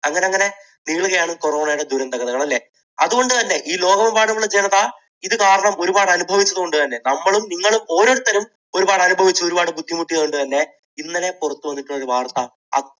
അങ്ങനങ്ങനെ നീളുകയാണ് corona യുടെ ദുരന്തങ്ങൾ. അല്ലേ? അതുകൊണ്ടുതന്നെ ഈ ലോകമെമ്പാടുമുള്ള ജനത ഇതു കാരണം ഒരുപാട് അനുഭവിച്ചതു കൊണ്ടുതന്നെ നമ്മളും നിങ്ങളും ഓരോരുത്തരും ഒരുപാട് അനുഭവിച്ചു, ഒരുപാട് ബുദ്ധിമുട്ടിയതുകൊണ്ടു തന്നെ ഇന്നലെ പുറത്തുവന്നിട്ടുള്ള ഒരു വാർത്ത